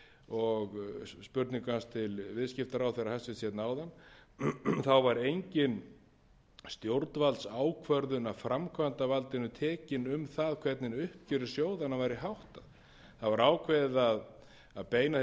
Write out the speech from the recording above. og spurningu hans til hæstvirtur viðskiptaráðherra áðan þá var engin stjórnvaldsákvörðun af framkvæmdarvaldinu tekin um það hvernig uppgjöri sjóðanna væri háttað það var ákveðið að beina því